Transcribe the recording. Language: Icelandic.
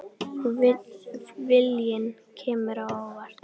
Viljinn kemur á óvart.